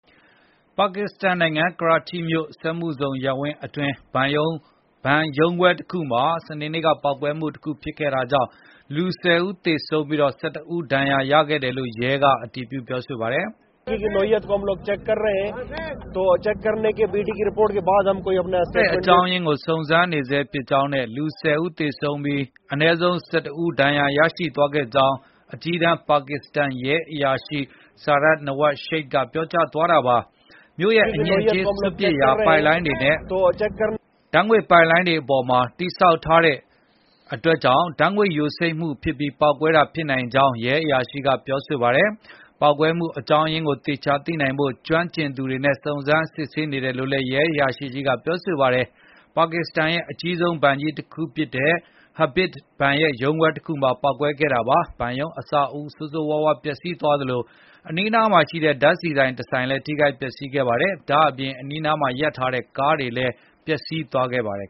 ပါကစ္စတန်နိုင်ငံ ကရာချိမြို့ စက်မှုဇုံရပ်ဝန်းအတွင်း ဘဏ်ရုံးခွဲတခုမှာ စနေနေ့က ပေါက်ကွဲမှု ဖြစ်ခဲ့တာကြောင့် လူ ၁၀ ဦးထက်မနည်း သေဆုံးပြီး ၁၁ ဦး ဒဏ်ရာရခဲ့တယ်လို့ ရဲက အတည်ပြုပါတယ်။ “ပေါက်ကွဲရတဲ့ အေကြာင်းရင်းကို စုံစမ်းနေဆဲဖြစ်ကြောင်းနဲ့ လူ ၁၀ ဦး သေဆုံးပြီး အနည်းဆုံး ၁၁ ဦး ဒဏ်ရာရသွားခဲ့ကြောင်း” အကြီးတန်း ပါကစ္စတန်ရဲအရာရှိ Sarfraz Nawaz Sheikh က ပြောသွားတာပါ။ မြို့ရဲ့ အညစ်အကြေးစွန့်ပစ်ရာ ပိုက်လိုင်းတွေနဲ့ ဓာတ်ငွေ့ပိုက်လိုင်းတွေ အပေါ်မှာ တည်ဆောက်ထားတဲ့အတွက် ဓာတ်ငွေ့ယိုစိမ့်ပြီး ပေါက်ကွဲမှုဖြစ်တာ ဖြစ်နိုင်ကြောင်း ရဲအရာရှိက ပြောပါတယ်။ ပေါက်ကွဲမှု အကြောင်းအရင်းကို သေချာသိနိုင်ဖို့ ကျွမ်းကျင်သူတွေနဲ့ စုံစမ်းစစ်ဆေးဖို့ လုပ်နေတယ်လို့ ရဲအရာရှိကြီးက ပြောပါတယ်။ ပါကစ္စတန်ရဲ့ အကြီးဆုံးဘဏ်ကြီးတခုဖြစ်တဲ့ Habib ဘဏ်ရဲ့ ရုံးခွဲတခုမှာ ပေါက်ကွဲခဲ့တာပါ။ ဘဏ်ရုံးအဆောက်အဦး ဆိုးဆိုးရွားရွား ပျက်စီးသွားသလို အနီးအနားမှာရှိတဲ့ ဓာတ်ဆီဆိုင်တဆိုင်လည်း ထိခိုက်ပျက်စီးခဲ့ပါတယ်။ ဒါ့အပြင် အနီးမှာရပ်ထားတဲ့ ကားတွေလည်း ပျက်စီးသွားခဲ့ပါတယ်